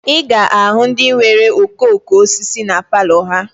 Ị ga-ahụ ndị nwere okooko osisi na palọ ha